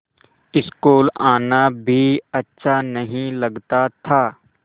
school आना भी अच्छा नहीं लगता था